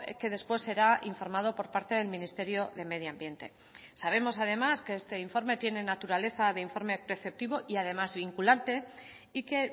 que después será informado por parte del ministerio de medio ambiente sabemos además que este informe tiene naturaleza de informe preceptivo y además vinculante y que